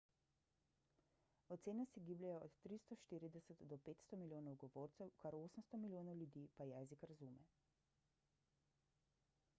ocene se gibljejo od 340 do 500 milijonov govorcev kar 800 milijonov ljudi pa jezik razume